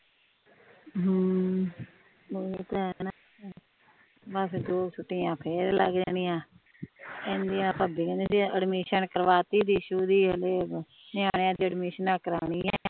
ਓਹੀ ਤੇ ਹੈ ਨਾ ਬਸ ਫੇਰ ਦੋ ਛੁੱਟੀਆਂ ਫੇਰ ਲਗ ਜਾਣੀਆਂ ਕਹਿੰਦਿਆਂ ਭਾਬੀ ਕਹਿੰਦੀ ਵੀ ਅਡਮਿਸਨ ਕਰਵਾ ਤੀ ਦਿਸ਼ੂ ਦੀ ਓਹਨੇ ਨਿਆਣਿਆਂ ਦੀ ਅਡਮਿਸਨਾ ਕਰੋਨੀਆਂ ਏ